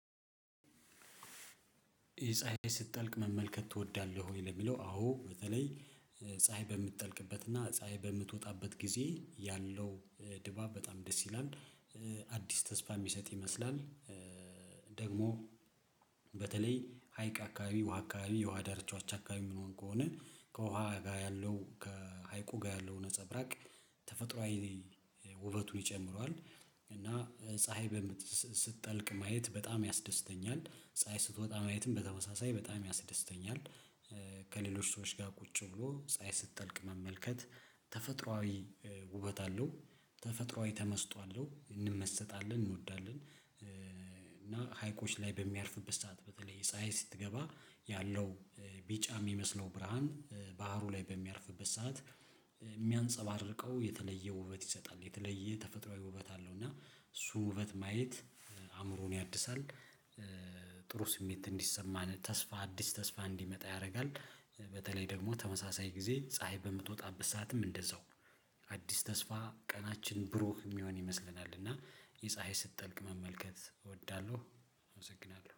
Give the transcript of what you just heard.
ይሄ ፀሀይ ስትጠልቅ መመልከት ትወዳለህ ወይ? ለሚለው አዎ በተለይ ፀሀይ በምትጠልቅበትና ፀሀይ በምትወጣበት ጊዜ ያለው ድባብ በጣም ደስ ይላል። አዲስ ተስፋ የሚሰጥ ይመስላል። ደግሞ። በተለይ ሀይቅ አከባቢ ውሃ አከባቢ የውሃ ዳርቻዎች አከባቢ የምሆን ከሆነ ከውሃ ጋር ያለው ከሀይቁ ጋር የለው ነፀብራቅ ተፈጥሮአዊ ውበቱን ይጨምረዋል። እና ፀሀይ ስትጠልቅ ማየት በጣም ያስደስተኛል ፀሀይ ስትወጣ ማየትም በተመሳሳይ በጣም ያስደስተኛል። ከሌሎች ሰዎች ጋር ቁጭ ብሎ ፀሀይ ስትጠልቅ መመልከት ተፈጥሮአዊ ውበት አለው። ተፈጥሮአዊ ተመስጦ አለው እንመሰጣለን እንወዳለን። እና ሀይቆች ላይ በሚያርፍበት ሰዓት በተለይ ፀሀይ ስትገባ ያለው ቢጫ የሚመስለው ብርሃን ባህሩ ላይ በሚያርፍበት ሰዓት። የሚያንፀባርቀው የተለየ ውበት ይሰጣል የተለየ ተፈጥሮአዊ ውበት አለው። እና እሱን ውበት ማየት አእምሮን ያድሳል። ጥሩ ስሜት እንዲሰማን ተስፋ አዲስ ተስፋ እንዲመጣ ያደርጋል። በተለይ ደግሞ ተመሳሳይ ጊዜ በምትጣበት ሰዓትም እንደዛው። አዲስ ተስፋ ቀናችን ብሩህ የሚሆን ይመስለናል። እና የፀሀይ ስትጠልቅ መመልከት እወዳለሁ። አመሰግናለሁ